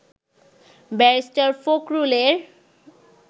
barrister ফখরুলের